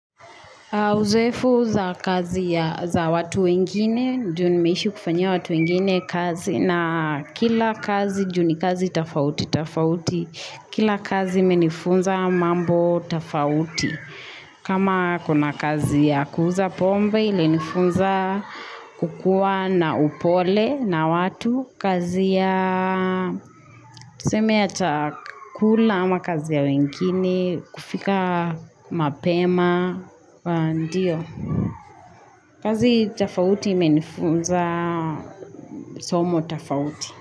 Uzoefu za kazi ya, za watu wengine, juu nimeishi kufanyia watu wengine kazi na kila kazi juu ni kazi tofauti, tofauti, kila kazi imenifunza mambo tofauti. Kama kuna kazi ya kuuza pombe ili nifunza kukua na upole na watu kazi ya tuseme ya chakula ama kazi ya wengine, kufika mapema, ndio. Kazi tofauti menifunza somo tofauti.